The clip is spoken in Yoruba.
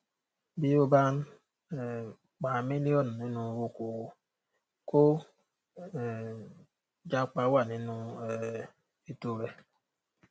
bí o bá ń um pa mílíọnù nínú oko òwò kó um jápa wà nínú um ètò rẹ